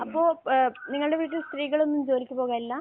അപ്പോൾ ഏഹ് നിങ്ങളുടെ വീട്ടിൽ സ്ത്രീകളൊന്നും ജോലിക്ക് പോകലില്ല?